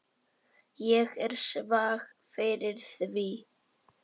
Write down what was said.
Ég er svag fyrir því.